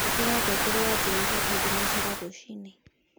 ĩkĩra ngengere ya jumatatũ tu thĩnacara rũcĩĩnĩ